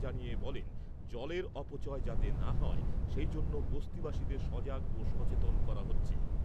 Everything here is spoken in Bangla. জানিয়ে বলেন, জলের অপচয় যাতে না হয় সেইজন্য বস্তিবাসীদের সজাগ ও সচেতন করা হচ্ছে।